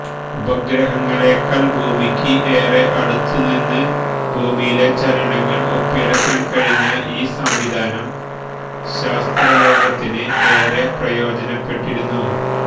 ഉപഗ്രഹങ്ങളേക്കാള് ഭൂമിക്ക് ഏറെ അടുത്തുനിന്ന് ഭൂമിയിലെ ചലനങ്ങള് ഒപ്പിയെടുക്കാന് കഴിഞ്ഞ ഈ സംവിധാനം ശാസ്ത്രലോകത്തിന് ഏറെ പ്രയോജനപ്പെട്ടിരുന്നു